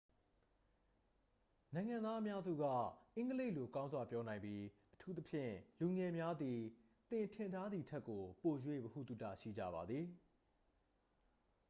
နိုင်ငံသားအများစုက အင်္ဂလိပ်လို ကောင်းစွာ ပြောနိုင်ပြီး အထူးသဖြင့် လူငယ်များသည် သင်ထင်ထားသည်ထက်ကို ပို၍ ဗဟုသုတ ရှိကြပါသည်